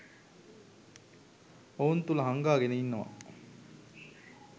ඔවුන් තුල හංගාගෙන ඉන්නවා.